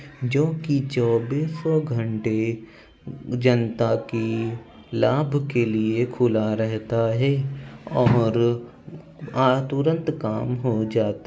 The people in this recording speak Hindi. जो की चौबीसौ घंटे जनता की लाभ के लिए खुला रहता है और आ तुरंत काम हो जाता--